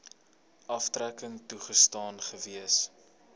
aftrekking toegestaan gewees